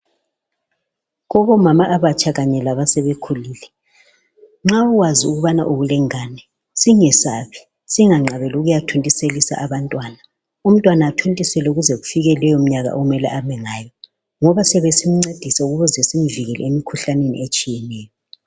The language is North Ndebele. Kubomama abatsha kanye labasebekhulile, nxa ukwazi ukubana ulengane, singesabi singanqabeli ukuyathontiselisa abantwana. Umntwana athontiselwe kuze kufike leyo mnyaka okumele abelayo ngoba siyabe simncedisa ukuze simuvikele emkhuhlaneni etshiyeneyo.